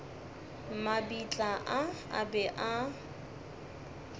mabitla a a be a